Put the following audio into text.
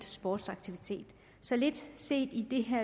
sportsaktivitet så lidt set i det